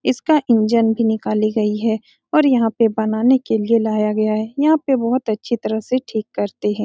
इसका इंजन भी निकली गयी है और यहाँ पे बनाने के लिए लायी गयी है यहाँ पे बहुत अच्छी तरह से ठीक करते है ।